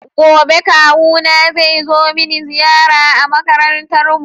Gobe Kawuna zai zo mini ziyara a makarantar mu.